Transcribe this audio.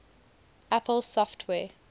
apple software